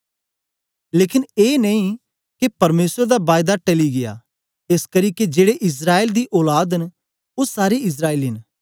लेकन ए नेई के परमेसर दा बायदा टली गीया एसकरी के जेड़े इस्राएल दी औलाद न ओ सारे इस्राएली नेई